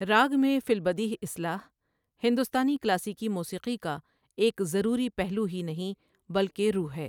راگ میں فےالبدیہہ اصلاح، ہندوستانی کلاسیکی موسیقی کا ایک ضروری پہلو ہی نہیں بلکہ روح ہے۔